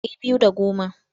Ɗari biyu da goma.